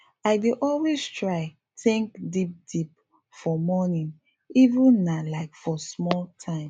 i dey always try think deep deep for morning even if nah like for small time